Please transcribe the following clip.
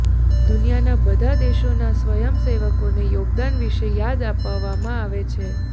દુનિયાના બધા દેશોના સ્વયંસેવકોના યોગદાન વિશે યાદ અપાવવામાં આવે છે